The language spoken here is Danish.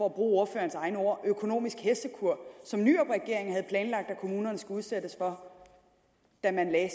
ordførerens egne ord økonomisk hestekur som nyrupregeringen havde planlagt at kommunerne skulle udsættes for da man lagde